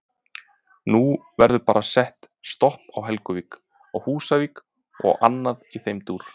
Nú verður bara sett stopp á Helguvík, á Húsavík og annað í þeim dúr?